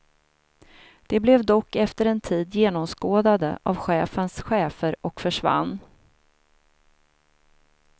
De blev dock efter en tid genomskådade av chefens chefer och försvann.